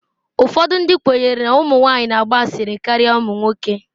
Ụfọdụ ndị kwenyere na ụmụ nwanyị na-agba asịrị karịa ụmụ nwoke.